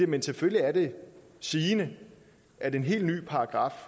men selvfølgelig er det sigende at en helt ny paragraf